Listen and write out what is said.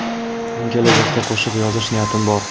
Men kelajakda qo‘shiq yozish niyatim bor.